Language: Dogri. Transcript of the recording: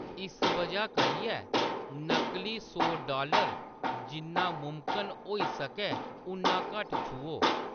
इस वजह करियै, नकली सौ डालर जिन्ना मुमकन होई सकै उन्ना घट्ट छुहो।